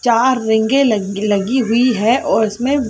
चार रेंगे लगी हुई है और उसमें--